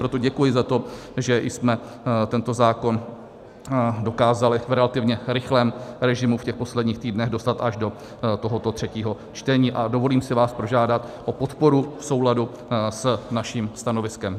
Proto děkuji za to, že jsme tento zákon dokázali v relativně rychlém režimu v těch posledních týdnech dostat až do tohoto třetího čtení, a dovolím si vás požádat o podporu v souladu s naším stanoviskem.